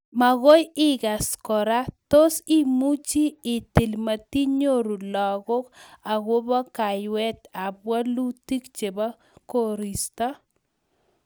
magoi igas kora tos, imuchi itil matinyoru lagok akopo kayweet ap walutik chepo koristo?